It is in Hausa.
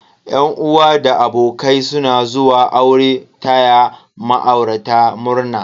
Yan uwa da abokai suna zuwa aure taya ma'aurata murna.